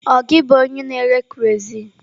Ọ gị bụ onye na-ere kerọsinụ?